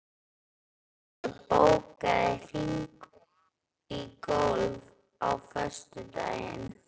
Ísold, bókaðu hring í golf á föstudaginn.